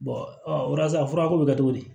a furako bɛ kɛ cogo di